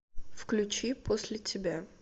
включи после тебя